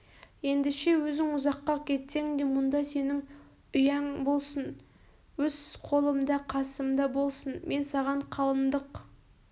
ендеше өзің ұзаққа кетсең де мұнда сенің үяң болсын өз қолымда қасымда болсын мен саған қалындық